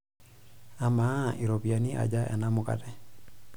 Amaa, ropiyiani aja ena mukate?